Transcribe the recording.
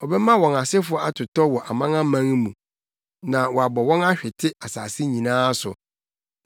ɔbɛma wɔn asefo atotɔ wɔ amanaman mu na wabɔ wɔn ahwete nsase nyinaa so.